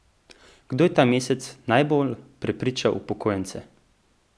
Kdo je ta mesec najbolj prepričal upokojence?